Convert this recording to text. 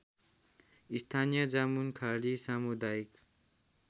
स्थानीय जामुनखाडी सामुदायिक